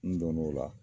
N donn'o la